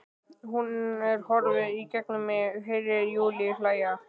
En hún horfir í gegnum mig- Heyri Júlíu hlæja.